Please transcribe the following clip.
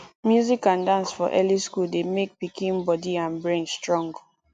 music and dance for early school dey make pikin body and brain strong